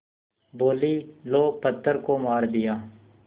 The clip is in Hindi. बोलीं लो पत्थर को मार दिया